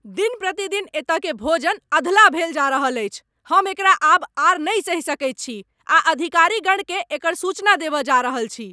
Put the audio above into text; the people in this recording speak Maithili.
दिन प्रतिदिन एतयकेँ भोजन अधलाह भेल जा रहल अछि। हम एकरा आब आर नहि सहि सकैत छी आ अधिकारीगणकेँ एकर सूचना देबय जा रहल छी।